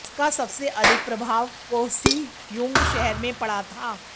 इसका सबसे अधिक प्रभाव कोहसीयूंग शहर में पड़ा था